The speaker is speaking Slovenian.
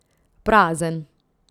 Prazen.